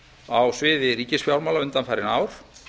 á sviði ríkisfjármála undanfarin ár